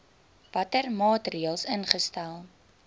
watter maatreëls ingestel